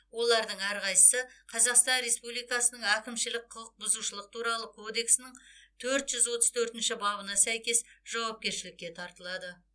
олардың әрқайсысы қазақстан республикасының әкімшілік құқық бұзушылық туралы кодексінің төрт жүз отыз төртінші бабына сәйкес жауапкершілікке тартылады